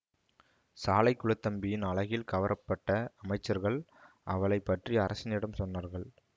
சாலைகுளத்தம்பியின் அழகில் கவரப்பட்ட அமைச்சர்கள் அவளை பற்றி அரசனிடம் சொன்னார்கள்